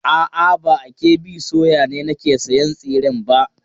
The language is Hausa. A'a, ba a KB soya ne nake sayan tsiren ba.